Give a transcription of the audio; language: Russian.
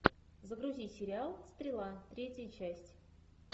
загрузи сериал стрела третья часть